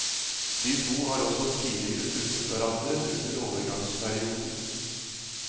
De to har også tidligere truffet hverandre under overgangsperioden.